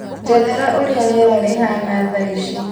njethera ũrĩa rĩera rĩahaana thaa ici.